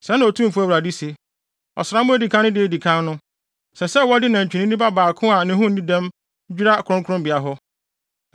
“ ‘Sɛɛ na Otumfo Awurade se: Ɔsram a edi kan no da a edi kan no, ɛsɛ sɛ wɔde nantwinini ba baako a ne ho nni dɛm dwira kronkronbea hɔ.